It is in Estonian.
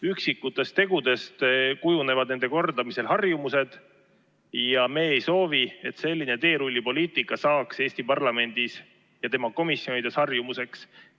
Üksikutest tegudest kujunevad nende kordamisel harjumused ja me ei soovi, et selline teerullipoliitika saaks Eesti parlamendis ja tema komisjonides harjumuseks.